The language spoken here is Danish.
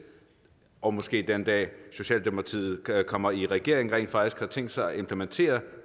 og måske den dag socialdemokratiet kommer i regering rent faktisk har tænkt sig at implementere